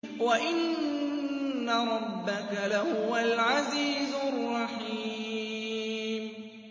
وَإِنَّ رَبَّكَ لَهُوَ الْعَزِيزُ الرَّحِيمُ